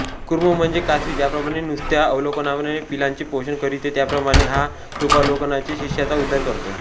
कूर्म म्हणजे कासवी ज्याप्रमाणें नुसत्या अवलोकनानें पिलांचें पोषण करिते त्याप्रमाणें हा कृपावलोकनानेंच शिष्याचा उद्धार करतो